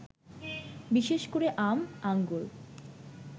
বিশেষ করে আম, আঙ্গুর